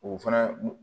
O fana